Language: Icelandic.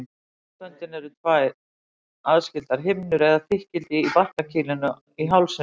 Raddböndin eru tvær aðskildar himnur eða þykkildi í barkakýlinu í hálsinum.